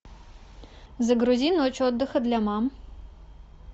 загрузи ночь отдыха для мам